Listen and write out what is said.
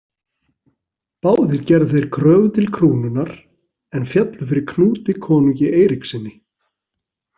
Báðir gerðu þeir kröfu til krúnunnar en féllu fyrir Knúti konungi Eiríkssyni.